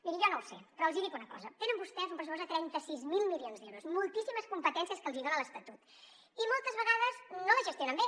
miri jo no ho sé però els hi dic una cosa tenen vostès un pressupost de trenta sis mil milions d’euros moltíssimes competències que els hi dona l’estatut i moltes vegades no les gestionen bé